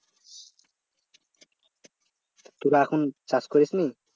তোরা এখন চাষ করিস নি?